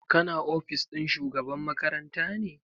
Ka na ofis ɗin shugaban makaranta ne?